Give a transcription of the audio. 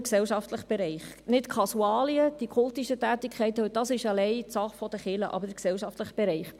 Es geht nicht um die Kasualien, um kultische Tätigkeiten, denn diese sind alleine Sache der Kirche.